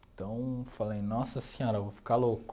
Então, falei, nossa senhora, vou ficar louco.